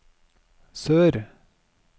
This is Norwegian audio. sør